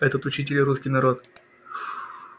этот учитель русский народ